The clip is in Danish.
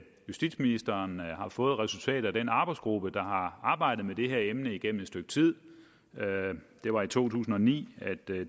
justitsministeren har fået resultatet fra den arbejdsgruppe der har arbejdet med det her emne igennem et stykke tid det var i to tusind og ni at det